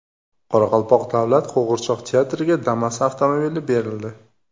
Qoraqalpoq davlat qo‘g‘irchoq teatriga Damas avtomobili berildi.